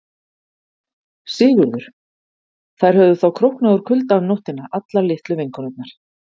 SIGURÐUR: Þær höfðu þá króknað úr kulda um nóttina allar litlu vinkonurnar.